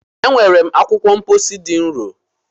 E nwere m akwụkwọ mkpọsi dị nro.